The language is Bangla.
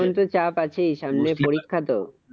এখন তো চাপ আছেই সামনে পরীক্ষা তো?